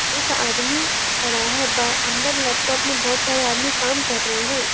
एक आदमी खड़ा है बा अंदर लैपटॉप में बहोत सारे आदमी कम कर रहे हैं।